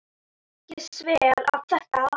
Ég sver að þetta.